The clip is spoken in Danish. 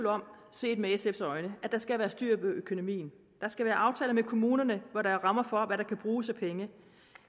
set med sf’s øjne er der skal være styr på økonomien der skal være aftaler med kommunerne hvor der er rammer for hvad der kan bruges af penge